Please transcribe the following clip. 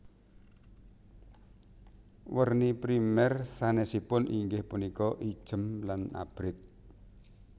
Werni primèr sanèsipun inggih punika ijem lan abrit